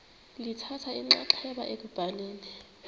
lithatha inxaxheba ekubhaleni